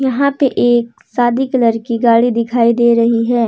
यहां पे एक सादी की कलर की गाड़ी दिखाई दे रही है।